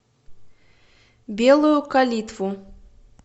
белую калитву